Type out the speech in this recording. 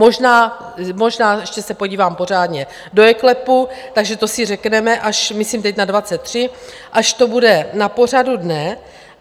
Možná, možná, ještě se podívám pořádně do eKLEPu, takže to si řekneme, až, myslím teď na 23, až to bude na pořadu dne.